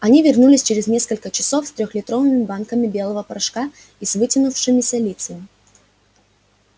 они вернулись через несколько часов с трёхлитровыми банками белого порошка и с вытянувшимися лицами